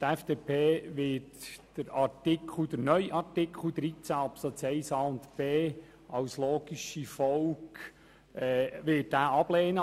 Die FDP wird den neuen Artikel 13 Absatz 1 Buchstaben a und b ablehnen.